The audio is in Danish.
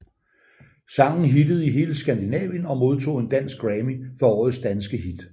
Sangen hittede i hele Skandinavien og modtog en Dansk Grammy for Årets danske hit